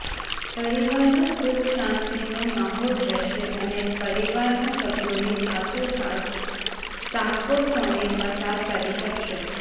પરિવારમાં સુખ શાંતિનો માહોલ રહેશે અને પરિવારના સભ્યોની સાથો સાથ સાકો સમય પસાર કરી શકશો